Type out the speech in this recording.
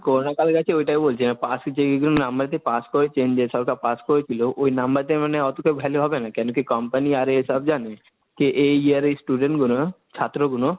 Corona কালে নাকি ওটাই বলছি, পাশ যেইগুলো number দিয়ে পাশ করে কেন্দ্র সরকার পাস করিছিল, ওই number টায় মানে অতটা value হবে না, কেন কি Company আরে সব যানে? কে এই year এর Student গুলো, ছাত্রগুলো,